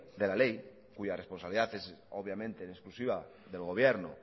de la ley cuya responsabilidad es obviamente en exclusiva del gobierno